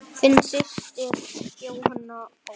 Þín systir Jóhanna Ósk.